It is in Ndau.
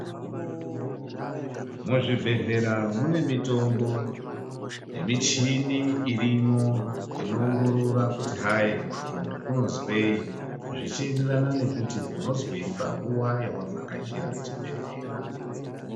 Muzvibhedhlera mune mitombo nemichini irimwo inoongorora kuti hai muntu unozwei. Zvichienderana nekuti unozwei panguva yavavhakachira chibhedhlera.